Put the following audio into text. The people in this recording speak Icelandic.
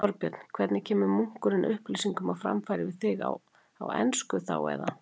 Þorbjörn: Hvernig kemur munkurinn upplýsingum á framfæri við þig, á ensku þá, eða?